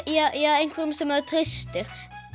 einhverjum sem maður treystir